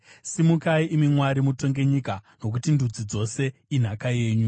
Simukai, imi Mwari, mutonge nyika, nokuti ndudzi dzose inhaka yenyu.